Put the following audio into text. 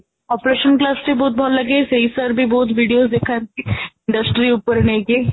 operation class ଟି ବହୁତ ଭଲ ଲାଗେ ସେଇ sir ବି ବହୁତ video ଦେଖନ୍ତି industry ଉପରେ ନେଇକି